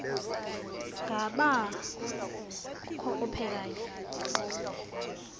ngaba kukho ophekayo